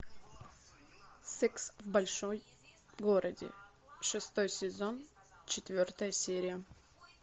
секс в большом городе шестой сезон четвертая серия